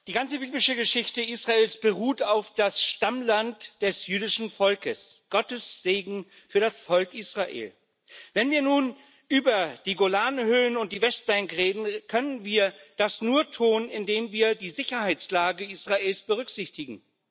Frau Präsidentin! Die ganze biblische Geschichte Israels beruht auf dem Stammland des jüdischen Volkes Gottes Segen für das Volk Israel. Wenn wir nun über die Golanhöhen und die Westbank reden, können wir das nur tun, indem wir die Sicherheitslage Israels berücksichtigen.